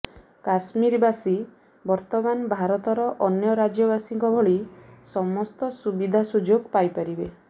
କଶ୍ମରୀବାସୀ ବର୍ତ୍ତମାନ ଭାରତର ଅନ୍ୟ ରାଜ୍ୟବାସୀଙ୍କ ଭଳି ସମସ୍ତ ସୁବିଧା ସୁଯୋଗ ପାଇପାରିବେ